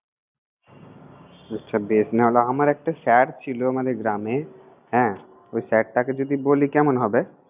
আচ্ছা বেশ, নাহলে আমার একটা sir ছিল, মানে গ্রামে হ্যাঁ ওই sir টাকে যদি বলি কেমন হবে!